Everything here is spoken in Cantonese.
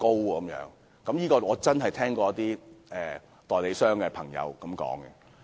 我真的聽過一位代理商朋友這樣說。